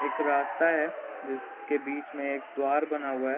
एक रास्ता है जिसके बीच में एक द्वार बना हुआ हैं।